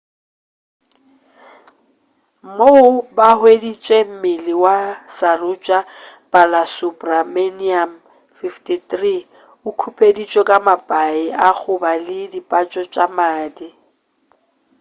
moo ba hweditše mmele wa saroja balasubramanian 53 o khupeditšwe ka mapai a goba le dipatso tša madi